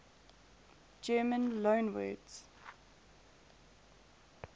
german loanwords